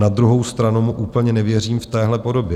Na druhou stranu mu úplně nevěřím v téhle podobě.